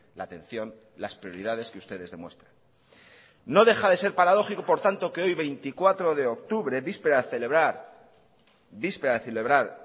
la atención las prioridades que ustedes demuestran no dejade ser paradójico por tanto que hoy veinticuatro de octubre víspera de celebrar